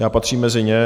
Já patřím mezi ně.